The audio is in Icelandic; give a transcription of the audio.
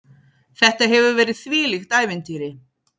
Þetta hefur verið þvílíkt ævintýri.